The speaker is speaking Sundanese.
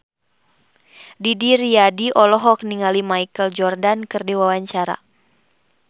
Didi Riyadi olohok ningali Michael Jordan keur diwawancara